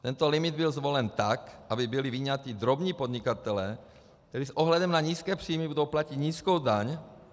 Tento limit byl zvolen tak, aby byli vyňati drobní podnikatelé, kteří s ohledem na nízké příjmy budou platit nízkou daň.